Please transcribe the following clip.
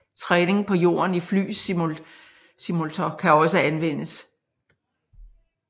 Træning på jorden i flysimultor kan også anvendes